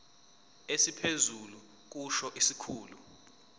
esiphezulu kusho isikhulu